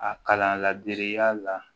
A kalan laadiriya la